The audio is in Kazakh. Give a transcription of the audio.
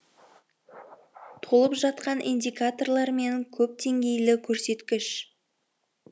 толып жатқан индикаторлар мен көпдеңгейлі көрсеткіш